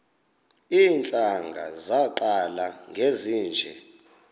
iintlanga zaqala ngezinje